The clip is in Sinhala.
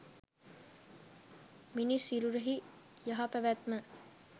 මිනිස් සිරුරෙහි යහපැවැත්ම